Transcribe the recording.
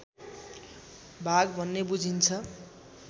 भाग भन्ने बुझिन्छ